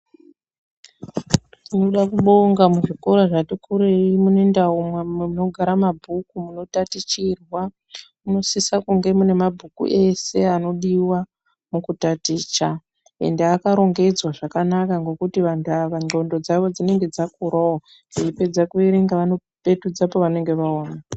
Tinoda kubonga muzvikora zvatikurei munendau munodara mabhuku munotatichirwa. Munosise kunge mune mabhuku ese anodiva mukutaticha. Ende akarongedzwa zvakanaka ngokuti antu vava ndxondo dzavo dzinonga dzakuravo veipedza kuverenga vanopetudza pavanenge vamaona.